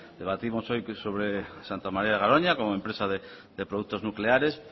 debatimos hoy sobre santa maría de garoña como empresa de productos nucleares